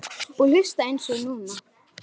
Og hlusta eins og núna.